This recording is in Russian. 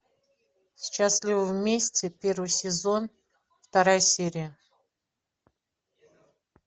счастливы вместе первый сезон вторая серия